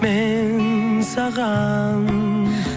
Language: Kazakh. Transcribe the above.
мен саған